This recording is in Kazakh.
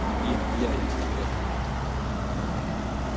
иә иә иә тахауи ахтановтың романы